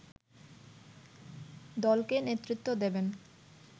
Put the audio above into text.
দলকে নেতৃত্ব দেবেন